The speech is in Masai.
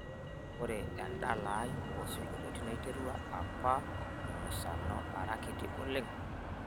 ore endala ai oo isinkolionio naiterua apa te musano ara kiti oleng